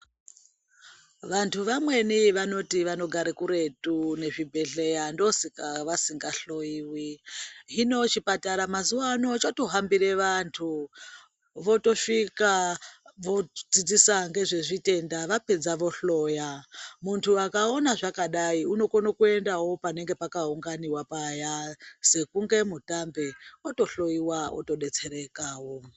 Vantu vamweni vanoti vanogare kuretu nezvibhehleya ndoosaka vasingahloyiwi. Hino chipatara mazuvano chotohambire vantu. Votosvika vodzidzisa ngezvezvitenda, vapedza vohloya. Muntu akaona zvakadai unokone kuenda panenge pakaunganiwa paya, sekunge mutambe, otohloyiwa, otodetserekawo